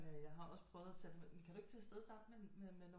Jeg har også prøvet at kan du ikke prøve at tage afsted med nogle